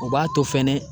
O b'a to fɛnɛ